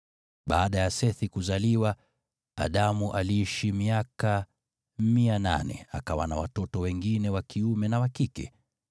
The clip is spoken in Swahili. Baada ya Sethi kuzaliwa, Adamu aliishi miaka 800, akawa na watoto wengine wa kiume na wa kike.